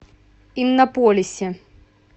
иннополисе